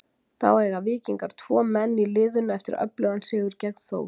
Þá eiga Víkingar tvo menn í liðinu eftir öflugan sigur gegn Þór.